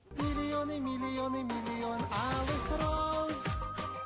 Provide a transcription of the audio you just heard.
миллионы миллионы миллионы алых роз